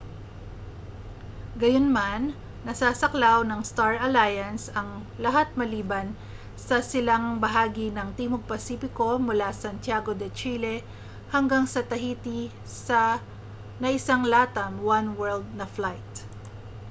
gayunman nasasaklaw ng star alliance ang lahat maliban sa silangang bahagi ng timog pasipiko mula sa santiago de chile hanggang sa tahiti na isang latam oneworld na flight